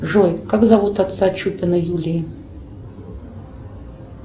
джой как зовут отца чупиной юлии